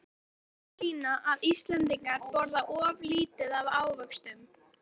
Rannsóknir sýna að Íslendingar borða of lítið af ávöxtum.